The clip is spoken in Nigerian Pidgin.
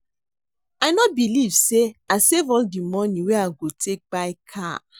I no believe say I save all the money wey I go take buy car